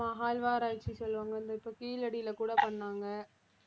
ஆமா அகழ்வாராய்ச்சி சொல்லுவாங்க இந்த இப்ப கீழடியில கூட பண்ணாங்க